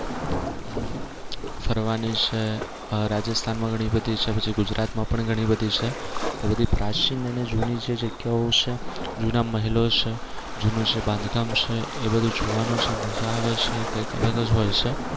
ફરવાની છે આહ રાજસ્થાન માં ઘણી બધી છે અને ગુજરાત માં પણ ઘણી બધી છે એ બધી પ્રાચીન અને જૂની જે જગ્યાઓ છે જૂના મહેલો છે જૂનું જે બાંધકામ છે એ બધુ જોવાનું છે મજા આવે છે કઈક અલગ જ હોય છે.